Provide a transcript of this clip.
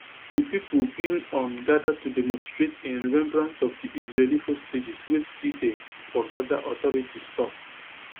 di pipo bin um gather to demonstrate in remembrance of di israeli hostages wey still dey for gaza authorities tok